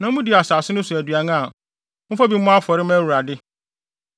na mudi asase no so aduan a, momfa bi mmɔ afɔre mma Awurade.